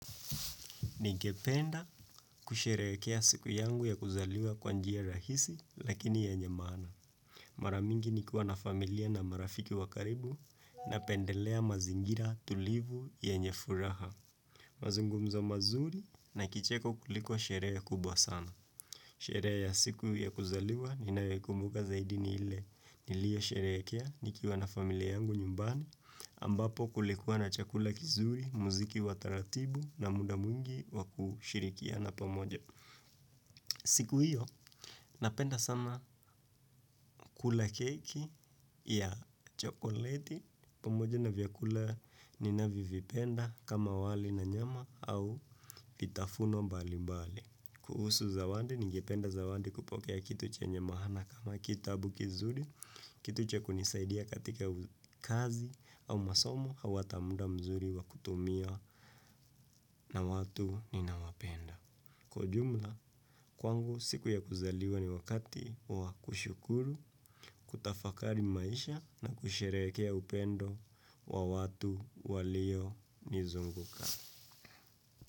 Ningependa kusherehekea siku yangu ya kuzaliwa kwa njia rahisi lakini yenye maana. Maramingi nikiwa na familia na marafiki wa karibu napendelea mazingira tulivu yenye furaha. Mazungumzo mazuri na kicheko kuliko sherehe kubwa sana. Sherehe ya siku ya kuzaliwa ninayoikumbuka zaidi ni ile niliesherehekea nikiwa na familia yangu nyumbani ambapo kulikuwa na chakula kizuri, muziki wa taratibu na muda mwingi wa kushirikiana pamoja. Siku hiyo, napenda sana kula keki ya chokoleti, pamoja na vyakula ninavyovipenda kama wali na nyama au kitafuno mbali mbali. Kuhusu zawandi, ningependa zawandi kupokea kitu chenye mahana kama kitabu kizuri, kitu cha kunisaidia katika kazi au masomo au ata muda mzuri wa kutumia na watu ninawapenda. Kwa ujumla, kwangu siku ya kuzaliwa ni wakati wa kushukuru, kutafakari maisha na kusherehekea upendo wa watu walionizunguka.